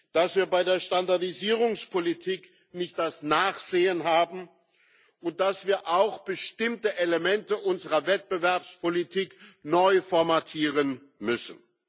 dass wir bei der Standardisierungspolitik nicht das Nachsehen haben und dass wir auch bestimmte Elemente unserer Wettbewerbspolitik neu formatieren müssen.